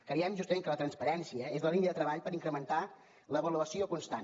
creiem justament que la transparència és la línia de treball per incrementar l’avaluació constant